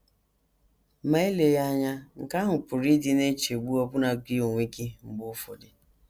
Ma eleghị anya, nke ahụ pụrụ ịdị na - echegbu ọbụna gị onwe gị mgbe ụfọdụ.